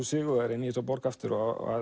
sigurvegari í þessa borg aftur